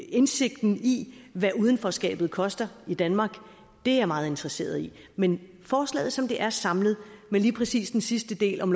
indsigten i hvad udenforskabet koster i danmark er jeg meget interesseret i men forslaget som det er samlet og med lige præcis den sidste del om